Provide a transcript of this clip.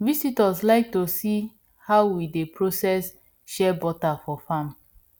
visitors like to see how we dey process shea butter for farm